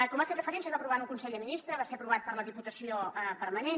com hi ha fet referència es va aprovar en un consell de ministres va ser aprovat per la diputació permanent